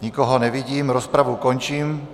Nikoho nevidím, rozpravu končím.